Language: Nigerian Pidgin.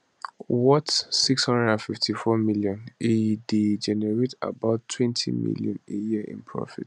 worth 654m e dey generate about 20m a year in profits